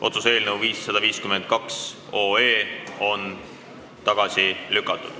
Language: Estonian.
Otsuse eelnõu 552 on tagasi lükatud.